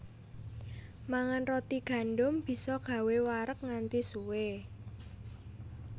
Mangan roti gandum bisa gawé wareg nganti suwé